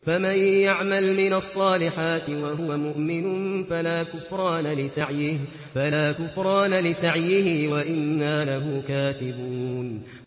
فَمَن يَعْمَلْ مِنَ الصَّالِحَاتِ وَهُوَ مُؤْمِنٌ فَلَا كُفْرَانَ لِسَعْيِهِ وَإِنَّا لَهُ كَاتِبُونَ